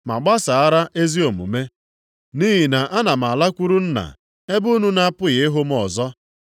ma gbasara ezi omume, nʼihi na ana m alakwuru Nna, ebe unu na-apụghị ịhụ m ọzọ,